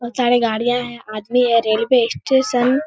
बहुत सारे गाड़ियाँ हैं आदमी है रेलवे स्टेशन --